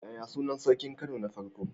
Yaya sunan sarkin Kano na farko?